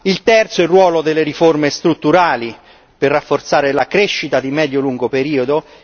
il terzo, il ruolo delle riforma strutturali per rafforzare la crescita di medio e lungo periodo